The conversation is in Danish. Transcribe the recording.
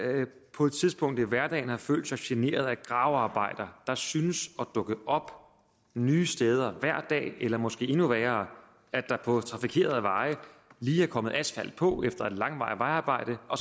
på et tidspunkt i hverdagen har følt sig generet af gravearbejder der synes at dukke op nye steder hver dag eller måske er endnu værre at der på trafikerede veje lige er kommet asfalt på efter et langvarigt vejarbejde og